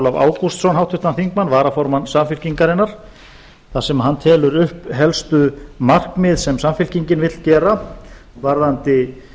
ólaf ágústsson háttvirtan þingmann varaformann samfylkingarinnar þar sem hann telur upp helstu markmið sem samfylkingin vill gera varðandi